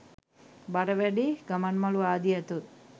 බර වැඩි ගමන්මළු ආදිය ඇතොත්